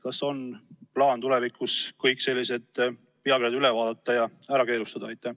Kas on plaan tulevikus kõik sellised pealkirjad üle vaadata ja ära keelustada?